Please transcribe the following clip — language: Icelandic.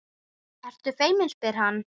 Ertu feimin, spyr hann.